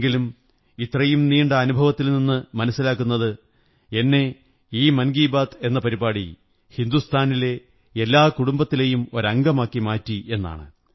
എങ്കിലും ഇത്രയും നീണ്ട അനുഭവത്തിൽ നിന്നു മനസ്സിലാക്കുന്നത് എന്നെ ഈ മന്കീു ബാത് എന്ന പരിപാടി ഹിന്ദുസ്ഥാനിലെ എല്ലാ കുടുംബത്തിലെയും ഒരംഗമാക്കി മാറ്റി എന്നാണ്